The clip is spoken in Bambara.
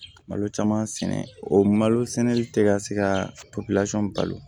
Malo caman sɛnɛ o malo sɛnɛli tɛ ka se ka balo